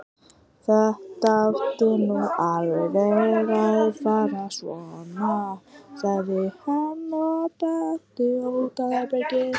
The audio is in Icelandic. Þetta átti nú ekki alveg að fara svona, sagði hann og benti á útatað herbergið.